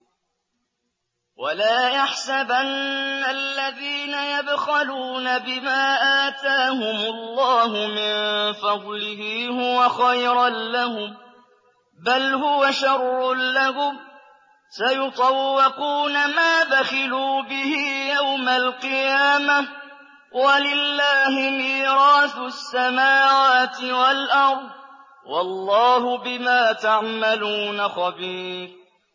وَلَا يَحْسَبَنَّ الَّذِينَ يَبْخَلُونَ بِمَا آتَاهُمُ اللَّهُ مِن فَضْلِهِ هُوَ خَيْرًا لَّهُم ۖ بَلْ هُوَ شَرٌّ لَّهُمْ ۖ سَيُطَوَّقُونَ مَا بَخِلُوا بِهِ يَوْمَ الْقِيَامَةِ ۗ وَلِلَّهِ مِيرَاثُ السَّمَاوَاتِ وَالْأَرْضِ ۗ وَاللَّهُ بِمَا تَعْمَلُونَ خَبِيرٌ